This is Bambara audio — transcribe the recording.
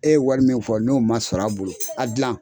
E ye wari min fɔ n'o ma sɔr'a bolo a dilan.